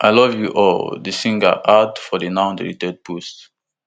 i love you all di singer add for di now deleted post